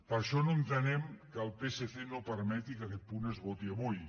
per això no entenem que el psc no permeti que aquest punt es voti avui